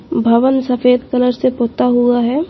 भवन सफेद कलर से पोता हुआ है।